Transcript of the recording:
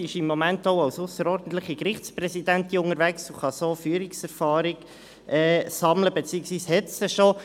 Sie ist im Moment auch als ausserordentliche Gerichtspräsidentin unterwegs und kann so Führungserfahrung sammeln, beziehungsweise hat diese schon.